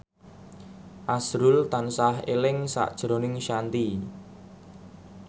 azrul tansah eling sakjroning Shanti